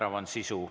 Määrav on sisu.